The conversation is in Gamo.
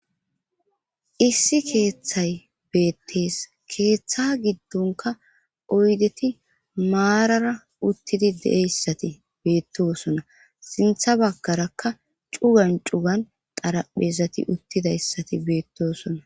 issi keeththay beettees keeththa giddonka oydeti maarara uttidi deeyssati beettosona sintha baggarakka cugan cugan xaraphezati uttidayssati beettosona